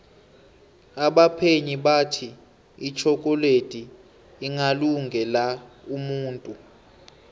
abaphenyi bathi itjhokoledi ingalunge la umuntu